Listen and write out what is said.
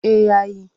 Eh ya yi.